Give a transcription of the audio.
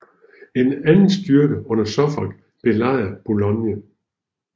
En anden styrke under Suffolk belejrede Boulogne